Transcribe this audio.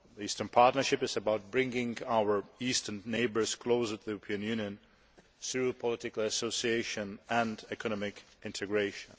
The Eastern Partnership is about bringing our Eastern neighbours closer to the European Union through political association and economic integration.